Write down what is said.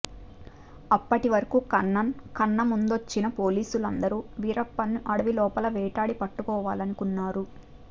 అప్పటివరకు కన్నన్ కన్న ముందొచ్చిన పోలిసులందరూ వీరప్పన్ని అడవిలోపల వేటాడి పట్టుకోవాలనుకున్నారు